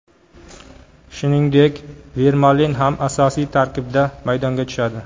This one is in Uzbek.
Shuningdek, Vermalen ham asosiy tarkibda maydonga tushadi.